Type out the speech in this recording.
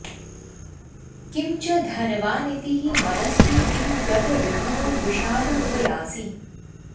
किं च धनवानिति हि मदस्ते किं गतविभवो विषादमुपयासि